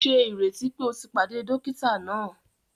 Ṣe ìrètí pé o tí pàdé dókítà náà!?